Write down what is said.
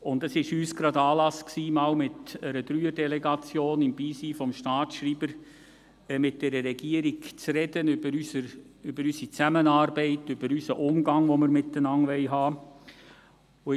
Dies war uns denn Anlass, mit einer Dreier-Delegation im Beisein des Staatsschreibers mit der Regierung über unsere Zusammenarbeit zu sprechen und den Umgang, den wir miteinander haben wollen.